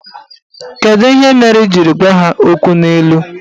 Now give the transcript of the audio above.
Kedu ihe mere ị jiri gwa ha okwu n'ilu?